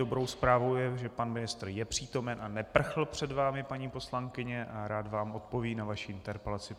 Dobrou zprávou je, že pan ministr je přítomen a neprchl před vámi, paní poslankyně, a rád vám odpoví na vaši interpelaci.